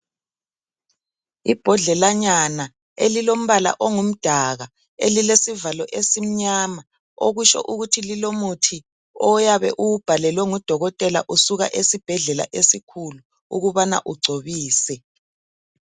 Ibhodlelanyana elilombala ongumdaka elilesivalo esimnyama okutsho ukuthi lilomuthi oyabe uwubhalelwe ngudokotela usuka esibhedlela esikhulu ukubana ugcobise.